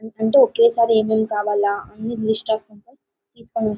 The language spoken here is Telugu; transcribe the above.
అంటే ఒకే సారి ఏమేం కావాలా అన్నీ లిస్ట్